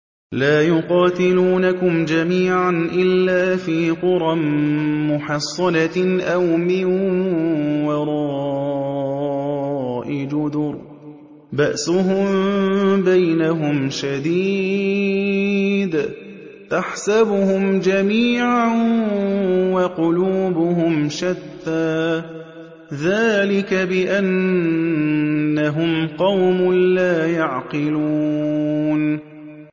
لَا يُقَاتِلُونَكُمْ جَمِيعًا إِلَّا فِي قُرًى مُّحَصَّنَةٍ أَوْ مِن وَرَاءِ جُدُرٍ ۚ بَأْسُهُم بَيْنَهُمْ شَدِيدٌ ۚ تَحْسَبُهُمْ جَمِيعًا وَقُلُوبُهُمْ شَتَّىٰ ۚ ذَٰلِكَ بِأَنَّهُمْ قَوْمٌ لَّا يَعْقِلُونَ